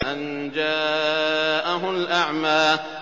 أَن جَاءَهُ الْأَعْمَىٰ